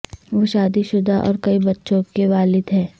وہ شادی شدہ اور کئی بچوں کے والد ہیں